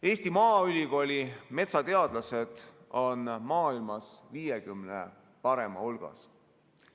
Eesti Maaülikooli metsateadlased on maailmas 50 parema hulgas.